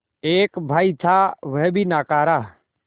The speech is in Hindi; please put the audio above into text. एक भाई था वह भी नाकारा